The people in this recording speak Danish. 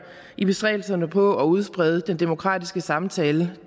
i bestræbelserne på at udsprede den demokratiske samtale